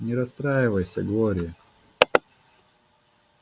не расстраивайся глори